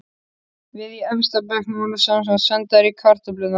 Við í efsta bekk vorum semsagt sendar í kartöflurnar.